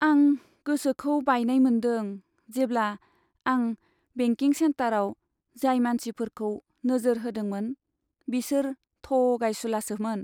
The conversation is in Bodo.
आं गोसोखौ बायनाय मोन्दों जेब्ला आं बेंकिं सेक्टराव जाय मानसिफोरखौ नोजोर होदोंमोन बिसोर थगायसुलासोमोन।